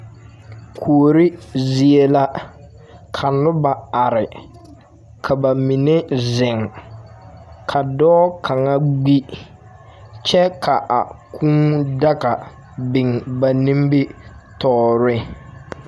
Kuori zie la, ka noba are, ka ba mine zeŋ, ka dɔɔ kaŋa gbi, kyɛ ka a kũũ daga biŋ ba nimitɔɔre.